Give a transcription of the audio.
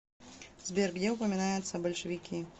сбер где упоминается большевики